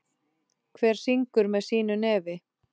Hver syngur með sínu nefi.